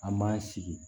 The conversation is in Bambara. An m'an sigi